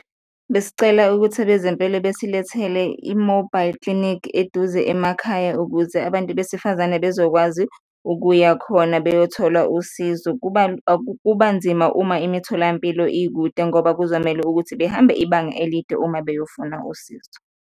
Besicela ukuthi abezempilo besilethele i-mobile clinic eduze emakhaya ukuze abantu besifazane bezokwazi ukuya khona beyothola usizo. Kuba kuba nzima uma imitholampilo ikude ngoba kuzomele ukuthi behambe ibanga elide uma beyofuna usizo.